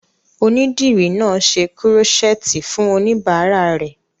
Onídìrí náà n ṣe kúrọ́sẹ́ẹ̀tì fún oníbàárà rẹ̀